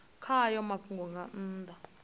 kha hayo mafhungo nga nnḓa